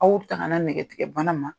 Aw tangana nɛgɛtigɛbana ma.